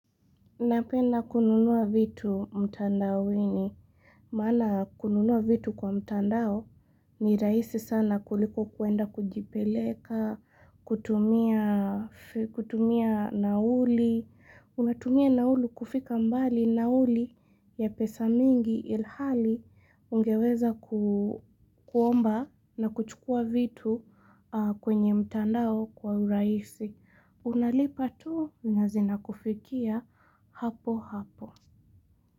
Napenda kununua vitu mtandaoni. Mana kununua vitu kwa mtandao ni rahisi sana kuliko kuenda kujipeleka, kutumia nauli. Unatumia nauli kufika mbali nauli ya pesa mingi ilhali ungeweza kuomba na kuchukua vitu kwenye mtandao kwa uraisi. Unalipa tu nazina kufikia hapo hapo.